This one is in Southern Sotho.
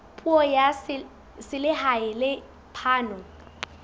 puso ya selehae le phano